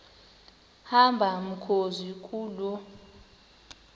hamba mkhozi kuloo